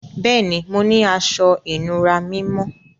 Bẹẹni, mò ní àṣọ-ìnúrà mímọ́.